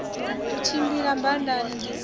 u tshimbila badani disiki ya